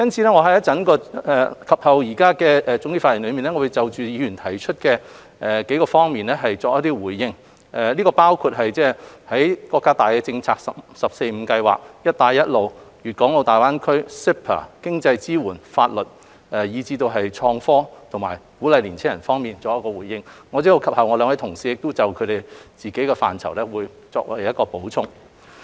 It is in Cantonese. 我會在總結發言就議員提出的數方面作出回應，包括就國家大政策如"十四五"規劃、"一帶一路"倡議、粵港澳大灣區發展、CEPA、經濟支援、法律，以至創科和鼓勵青少年方面，稍後兩位同事亦會就各自範疇作出補充。